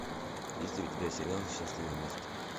есть ли у тебя сериал счастливы вместе